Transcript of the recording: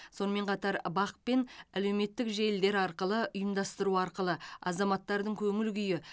сонымен қатар бақ пен әлеуметтік желілер арқылы ұйымдастыру арқылы азаматтардың көңіл күйі